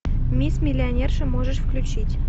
мисс миллионерша можешь включить